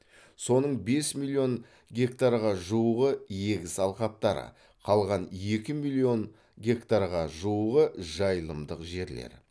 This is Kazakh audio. соның бес миллион гектарға жуығы егіс алқаптары қалған екі миллион гектарға жуығы жайылымдық жерлер